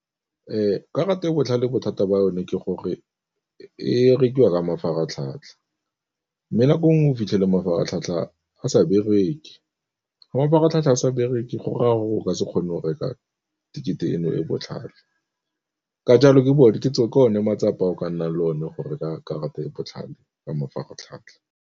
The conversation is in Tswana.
Karata e botlhale bothata ba yone ke gore e rekiwa ka mafaratlhatlha, mme nako nngwe o fitlhele mafaratlhatlha a sa bereke, fa mafaratlhatlha sa bereke go raya gore o ka se kgone go reka tekete eno e botlhale. Ka jalo ke one matsapa o ka nna le one gore ka karata e e botlhale ka mafaratlhatlha.